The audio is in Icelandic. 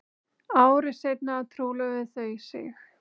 Ári seinna trúlofuðu þau sig